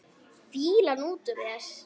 Fýlan út úr þér!